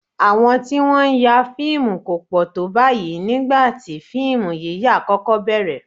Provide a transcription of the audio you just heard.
Àwọn tí wọ́n ń ya fíìmù kò pọ̀ tó báyìí nígbà tí fíìmù yíyà kọ́kọ́ bẹ̀ẹ̀rẹ̀